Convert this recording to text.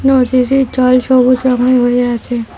নদীটির জল সবুজ রঙের হয়ে আছে।